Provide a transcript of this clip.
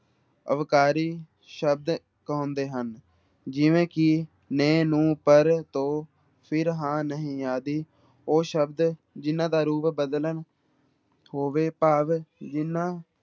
ਅਵਿਕਾਰੀ ਸ਼ਬਦ ਕਹਾਉਂਦੇ ਹਨ, ਜਿਵੇਂ ਕਿ ਨੇ, ਨੂੰ, ਪਰ, ਤੋਂ, ਫਿਰ, ਹਾਂ, ਨਹੀਂ ਆਦਿ ਉਹ ਸ਼ਬਦ ਜਿਹਨਾਂ ਦਾ ਰੂਪ ਬਦਲਣ ਹੋਵੇ ਭਾਵ ਜਿਹਨਾਂ